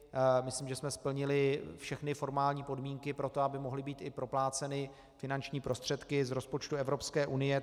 Myslím, že jsme splnili všechny formální podmínky pro to, aby mohly být i propláceny finanční prostředky z rozpočtu Evropské unie.